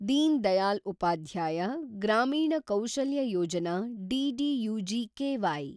ದೀನ್ ದಯಾಲ್ ಉಪಾಧ್ಯಾಯ ಗ್ರಾಮೀಣ ಕೌಶಲ್ಯ ಯೋಜನಾ (ದ್ದು-ಜಿಕೆವೈ)